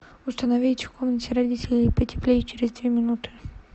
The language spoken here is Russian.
установить в комнате родителей потеплее через две минуты